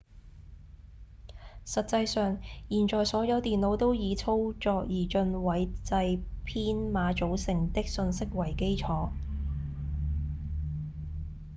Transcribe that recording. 實際上現在所有電腦都以操作二進位制編碼組成的訊息為基礎